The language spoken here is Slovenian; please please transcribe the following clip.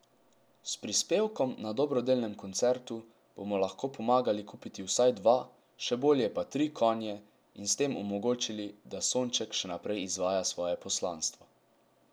S prispevkom na dobrodelnem koncertu bomo lahko pomagali kupiti vsaj dva, še bolje pa tri konje, in s tem omogočili, da Sonček še naprej izvaja svoje poslanstvo.